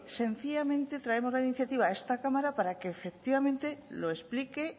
sencillamente traemos la iniciativa a esta cámara para que efectivamente lo explique